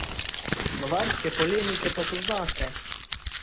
Slovarske polemike pa poznate.